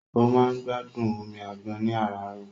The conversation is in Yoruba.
Ó máa ń gbádùn omi àgbọn ní àràárọ̀.